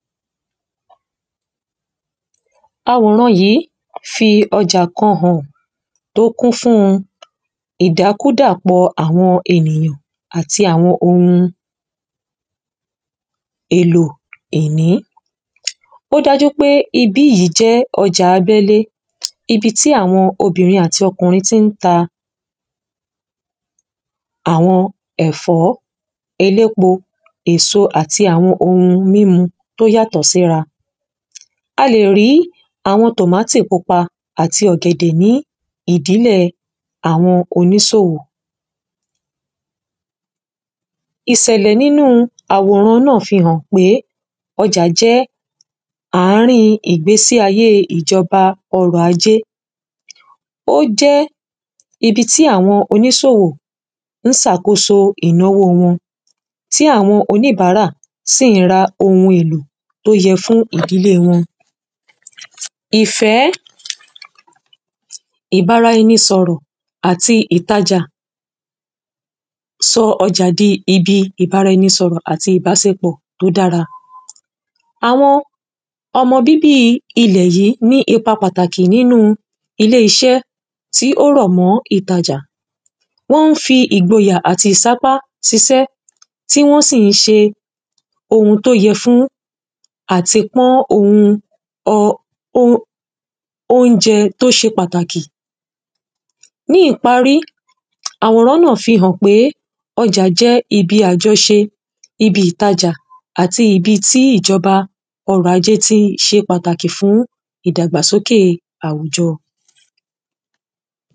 awòran yìí fi ọjà kan hàn tó kún fún ìdákúdàpọ àwọn ènìyàn àti àwọn ohun èlò ẹni. ó dájú pé ibi yìí jẹ́ ọjà abẹ́lé, ibi tí àwọn obìnrin àti ọkùnrin ti ń ta àwọn ẹ̀fọ́, elépo, èso, àti àwọn ohun mímu tó yàtọ̀ síra. a lè rí àwọn tòmátì pupa àti ọ̀gẹ̀dẹ̀ ní ìdílẹ̀ àwọn oníṣòwò ìṣẹ̀lẹ̀ nínu àwòrán náà fi hàn pé ọjà jẹ́ àárín ìgbésí ayé ìjọba ọrọ̀ ajé ó jẹ́ ibi tí àwọn oníṣòwò ń ṣe àkóso ìnáwó wọn, tí àwọn oníbàárà sì ra ohun èlò tó yẹ fún ìdílé wọn ìfẹ́, ìbára ẹni sọ̀rọ̀, àti ìtajà, sọ ọjà di ibi ìbára ẹni sọ̀rọ̀ àti ìbáṣepọ̀ tó dára àwọn ọmọ bíbí ilẹ̀ yìí ní ipa pàtàkì nínu ilé iṣẹ́ tí ó rọ̀ mọ́ ìtajà wọ́n ń fi ìgboyà àti ìsápá ṣiṣẹ́ tí wọ́n sì ń ṣe ohun tó yẹ́ fún àtipọ́n ohun óúnjẹ tó ṣe pàtàkì ní ìparí, àwòrán náà fi hàn pé ọjà jẹ́ ibi àjọ̀ṣe, ibi ìtajà àti ibi tí ìjọba ọrọ̀ ajé ti ṣe pàtàkì fún ìdàgbà sókè àwùjọ